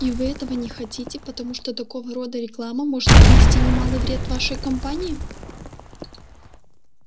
и вы этого не хотите потому что такого рода реклама может принести немалый вред вашей компании